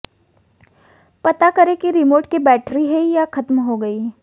पता करें कि रिमोट की बैटरी है या खत्म हो गई